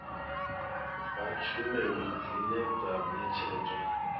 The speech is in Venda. ha tshumelo dzine dza ṋetshedzwa